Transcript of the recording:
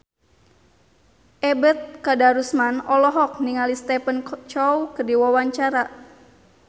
Ebet Kadarusman olohok ningali Stephen Chow keur diwawancara